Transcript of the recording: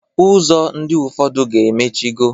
Ụzọ ndị ụfọdụ ga-emichigo.